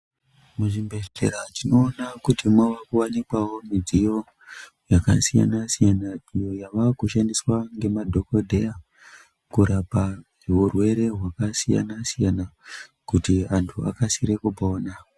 Muzvibhedhlera tinoona kuti mwave kuwanikwawo mudziyo yakasiyana siyana iyo yava kushandiswa ngemadhokodhera kurapa urwere hwakasiyana siyana kuti antu akasire kupona.